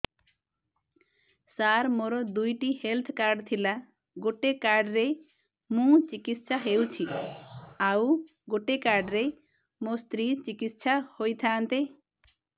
ସାର ମୋର ଦୁଇଟି health card ଥିଲା ଗୋଟେ କାର୍ଡ ରେ ମୁଁ ଚିକିତ୍ସା ହେଉଛି ଆଉ ଗୋଟେ କାର୍ଡ ରେ ମୋ ସ୍ତ୍ରୀ ଚିକିତ୍ସା ହୋଇଥାନ୍ତେ